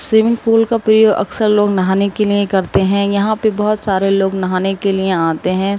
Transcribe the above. Swimming pool का प्रयोग लोग अक्सर नहाने के लिए करते हैं। यहाँ पे बहुत सारे लोग नहाने के लिए आते हैं।